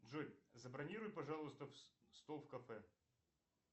джой забронируй пожалуйста стол в кафе